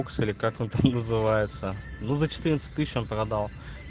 укс или как он там называется ну за четырнадцать тысяч он продал